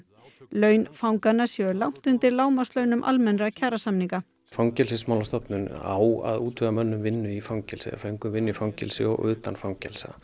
laun fanganna séu langt undir lágmarkslaunum almennra kjarasamninga Fangelsismálastofnun á að útvega mönnum vinnu í fangelsi eða föngum vinnu í fangelsi og utan fangelsa